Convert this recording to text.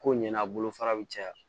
Ko ɲɛna bolo fara bɛ caya